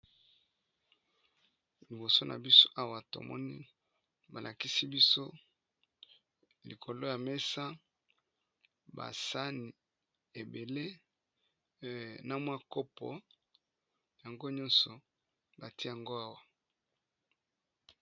Liboso na biso awa tozomona balakisi biso likolo ya mesa ba saani ebele na kopo yango nyonso batye yango awa.